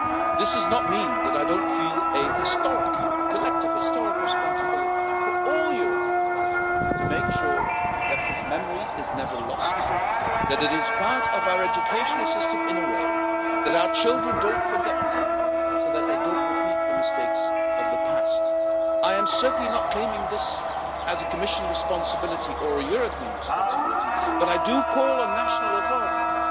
This does not mean that I do not feel a collective historic responsibility, for all Europeans, to make sure that this memory is never lost, that it is part of our educational system in a way, and that our children don't forget, so that they do not repeat the mistakes of the past. I am certainly not claiming this as a Commission responsibility or a European responsibility, but I do call on national authorities